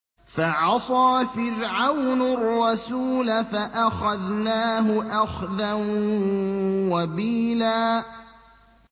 فَعَصَىٰ فِرْعَوْنُ الرَّسُولَ فَأَخَذْنَاهُ أَخْذًا وَبِيلًا